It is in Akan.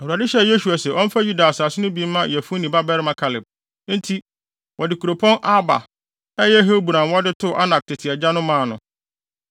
Awurade hyɛɛ Yosua se ɔmfa Yuda asase no bi mma Yefune babarima Kaleb. Enti, wɔde kuropɔn Arba (a ɛyɛ Hebron) a wɔde too Anak tete agya no maa no.